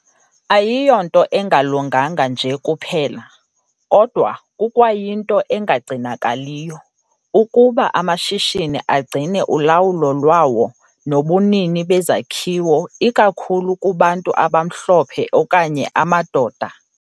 Ayiyonto engalunganga nje kuphela, kodwa kukwayinto engagcinakaliyo, ukuba amashishini agcine ulawulo lwawo nobunini bezakhiwo ikakhulu kubantu abamhlophe okanye amadoda.